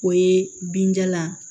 O ye binjalan